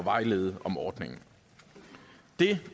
og vejlede om ordningen det